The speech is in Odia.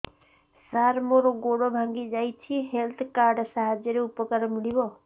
ସାର ମୋର ଗୋଡ଼ ଭାଙ୍ଗି ଯାଇଛି ହେଲ୍ଥ କାର୍ଡ ସାହାଯ୍ୟରେ ଉପକାର ମିଳିବ